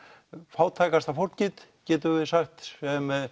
fátækasta fólkið getum við sagt sem